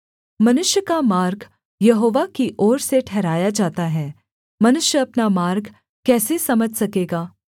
मनुष्य का मार्ग यहोवा की ओर से ठहराया जाता है मनुष्य अपना मार्ग कैसे समझ सकेगा